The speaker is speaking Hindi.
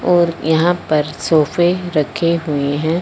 और यहां पर सोफे रखे हुएं हैं।